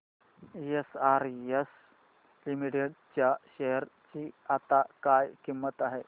SRS limited च्या share ची आता काय किंमत आहे